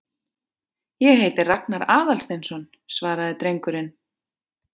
Ég heiti Ragnar Aðalsteinsson- svaraði drengurinn.